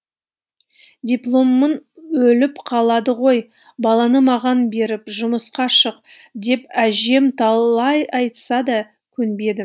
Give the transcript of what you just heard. дипломың өліп қалады ғой баланы маған беріп жұмысқа шық деп әжем талай айтса да көнбедім